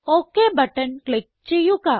okay button click ചെയ്യുക